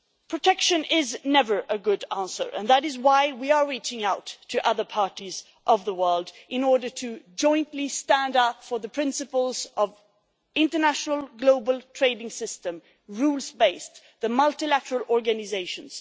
Protection is never a good answer, and that is why we are reaching out to other parties of the world in order to jointly stand up for the principles of the rules-based international global trading system and the multilateral organisations.